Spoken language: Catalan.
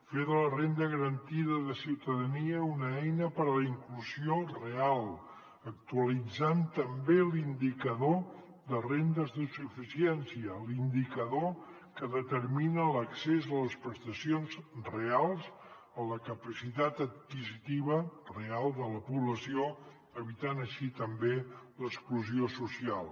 fer de la renda garantida de ciutadania una eina per a la inclusió real actualitzant també l’indicador de rendes de suficiència l’indicador que determina l’accés a les prestacions reals a la capacitat adquisitiva real de la població evitant així també l’exclusió social